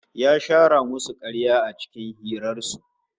Ya shara musu karya a cikin hirar su